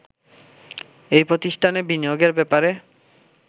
এই প্রতিষ্ঠানে বিনিয়োগের ব্যাপারে